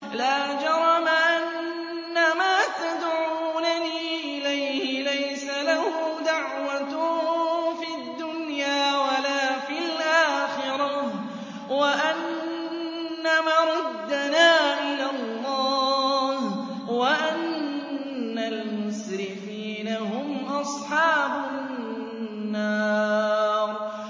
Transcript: لَا جَرَمَ أَنَّمَا تَدْعُونَنِي إِلَيْهِ لَيْسَ لَهُ دَعْوَةٌ فِي الدُّنْيَا وَلَا فِي الْآخِرَةِ وَأَنَّ مَرَدَّنَا إِلَى اللَّهِ وَأَنَّ الْمُسْرِفِينَ هُمْ أَصْحَابُ النَّارِ